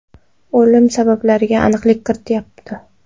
O‘lim sabablariga aniqlik kiritilmayapti.